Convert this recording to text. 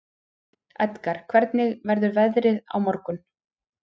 Edgar, hvernig verður veðrið á morgun?